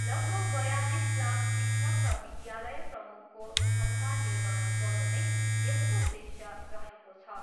लगभग बयालिस लाख शिक्षक र विद्यालय प्रमुखको क्षमता निर्माण गर्नु नै यसको उद्देश्य रहेको छ।